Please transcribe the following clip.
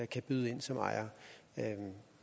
kan byde ind som ejere